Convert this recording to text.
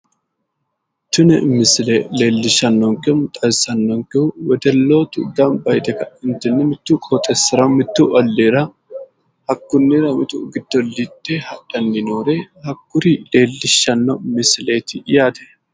Tini misile leellishshankehu woy xawissannonkehu wedellootu gamba yite ka'entiinni mittu qoxeessira mittu olliira hakkunnira mitu giddollite hadhanni noore hakkuri leellishshanno misileeti yaate